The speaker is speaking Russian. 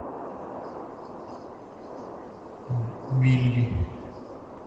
билли